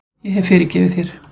Ég hef fyrirgefið þér.